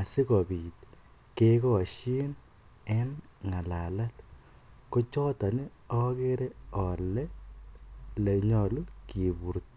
asikobit kekoshin en ngalalet, kochoton okere olee elee nyolu kiburto.